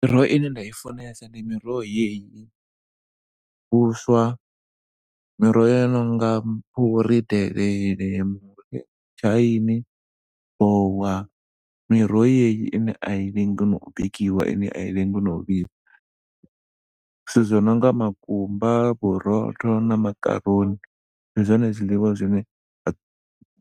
Miroho ine nda i funesa ndi miroho yeyi. Vhuswa miroho yo no nga fhuri, delele, mitshaini, vowa, miroho yeyi ine a i lengi na u bikiwa ine ai lengi na u vhibva. Zwithu zwo no nga makumba, vhurotho na makaroni ndi zwone zwiḽiwa